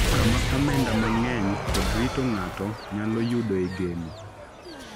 kama omenda mang’eny kod rito ng’ato nyalo yudoe geno.